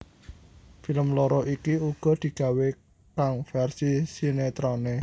Film loro iki uga digawé kang versi sinetroné